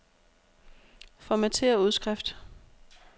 Formatér udskrift.